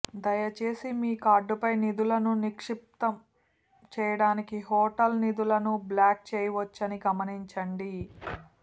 దయచేసి మీ కార్డుపై నిధులను నిక్షిప్తం చేయడానికి హోటల్ నిధులను బ్లాక్ చేయవచ్చని గమనించండి